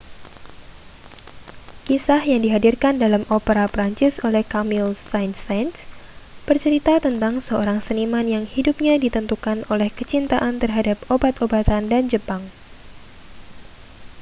kisah yang dihadirkan dalam opera prancis oleh camille saint-saens bercerita tentang seorang seniman yang hidupnya ditentukan oleh kecintaan terhadap obat-obatan dan jepang